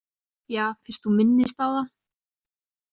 Ja, fyrst þú minnist á það.